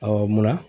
munna